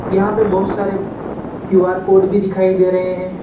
यहां पे बहुत सारे क्यु_आर कोड भी दिखाई दे रहे है।